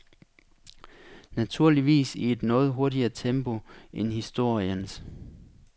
Naturligvis i et noget hurtigere tempo end historiens.